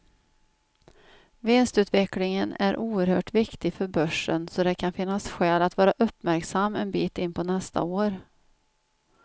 Vinstutvecklingen är oerhört viktig för börsen, så det kan finnas skäl att vara uppmärksam en bit in på nästa år.